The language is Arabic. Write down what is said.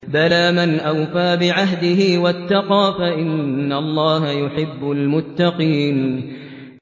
بَلَىٰ مَنْ أَوْفَىٰ بِعَهْدِهِ وَاتَّقَىٰ فَإِنَّ اللَّهَ يُحِبُّ الْمُتَّقِينَ